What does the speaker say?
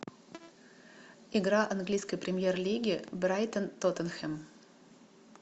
игра английской премьер лиги брайтон тоттенхэм